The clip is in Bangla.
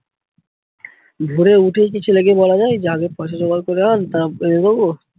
ভোরে উঠেই কি ছেলেকে বলা যায় যে আগেই পয়সা জোগাড় করে আন তারপরে বো।